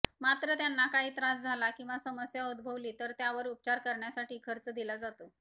मात्र त्यांना काही त्रास झाला किंवा समस्या उद्भवली तर त्यावर उपचार करण्यासाठी खर्च दिला जातो